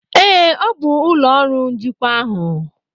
Ee, ọ bụ ụlọ ọrụ njikwa ahụ.